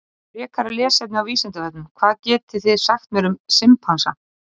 Frekara lesefni á Vísindavefnum: Hvað getið þið sagt mér um simpansa?